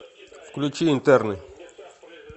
включи интерны